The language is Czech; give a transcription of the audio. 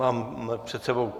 Mám před sebou...